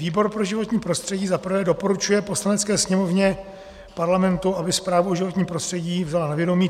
Výbor pro životní prostředí, za prvé doporučuje Poslanecké sněmovně Parlamentu, aby zprávu o životním prostředí vzal na vědomí.